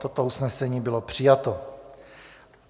Toto usnesení bylo přijato.